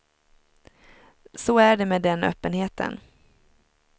Så är det med den öppenheten.